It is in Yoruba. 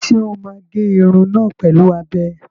Ṣé o máa gé irun náà pẹ̀lú abẹ?